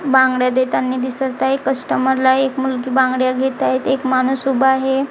बांगड्या देतानी दिसत आहे कस्टमरला एक मुलगी बांगड्या घेत आहेत एक माणूस उभा आहे.